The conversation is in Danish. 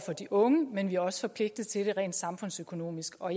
for de unge men vi er også forpligtet til det rent samfundsøkonomisk og